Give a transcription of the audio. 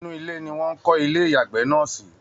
Inú ile ni Wọ́n ń kọ́ ilé ìyàgbẹ́ náà sí